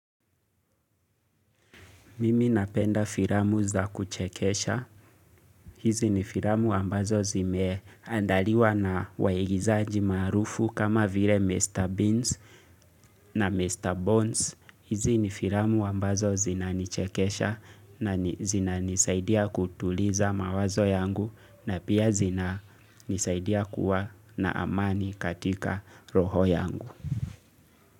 Mimi napenda filamu za kuchekesha. Hizi ni filamu ambazo zime andaliwa na waigizaji maarufu kama vile Mr. Beans na Mr. Bones. Hizi ni filamu ambazo zinanichekesha na zinanisaidia kutuliza mawazo yangu na pia zina nisaidia kuwa na amani katika roho yangu.